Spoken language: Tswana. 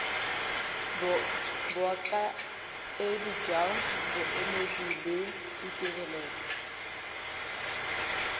bokaedi jwa boemedi le ditirelo